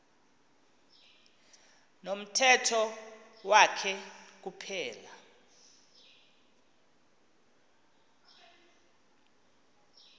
nomthetho wakhe kuphela